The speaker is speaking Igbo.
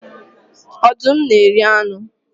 Ọdụm na-eri anụ